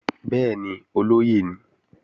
Bẹ́ẹ̀ni, olóyè ni